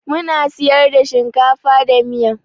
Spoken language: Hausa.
Muna siyar da shinkafa da miya.